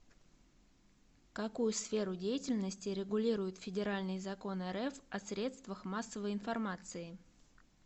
какую сферу деятельности регулирует федеральный закон рф о средствах массовой информации